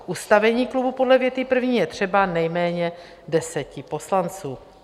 K ustavení klubu podle věty první je třeba nejméně deseti poslanců.